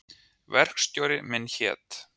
Verkstjóri minn hét